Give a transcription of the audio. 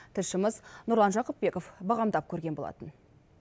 тілшіміз нұрлан жақыпбеков бағамдап көрген болатын